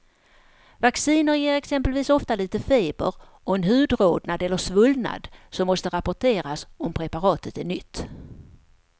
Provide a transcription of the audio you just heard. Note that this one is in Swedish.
Vacciner ger exempelvis ofta lite feber och en hudrodnad eller svullnad som måste rapporteras om preparatet är nytt.